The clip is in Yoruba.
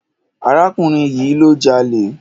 Arákùnrin yìí ló jalé